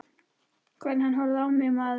Hvernig hann horfði á mig, maðurinn!